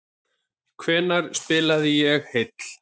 Hvenær spilaði ég síðast heill?